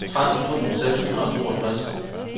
tretten tusind seks hundrede og toogtres